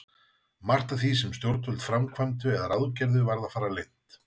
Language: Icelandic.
Margt af því, sem stjórnvöld framkvæmdu eða ráðgerðu, varð að fara leynt.